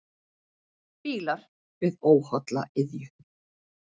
Fílar við óholla iðju.